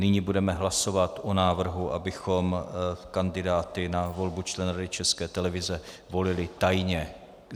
Nyní budeme hlasovat o návrhu, abychom kandidáty na volbu členů Rady České televize volili tajně.